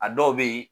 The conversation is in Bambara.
A dɔw bɛ yen